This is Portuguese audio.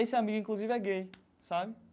Esse amigo, inclusive, é gay, sabe?